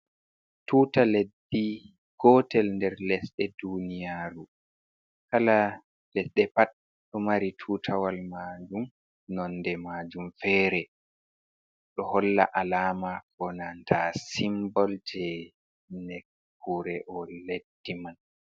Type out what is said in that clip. Tuuta leddi gotel nder lesɗe duniyaaru. Kala leɗɗe pat ɗo mari tuutawal majum, nonde majum fere. Ɗo holla alama bananta simbol jei nekkure o leddi man.